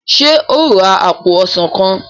ṣe o rà apo ọsán kán?